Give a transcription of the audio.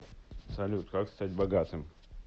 салют как стать богатым